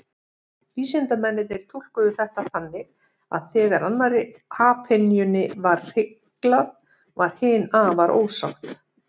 Vísindamennirnir túlkuðu þetta þannig að þegar annarri apynjunni var hyglað, varð hin afar ósátt.